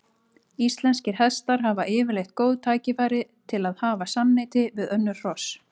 Íslenskir hestar hafa yfirleitt góð tækifæri til að hafa samneyti við önnur hross.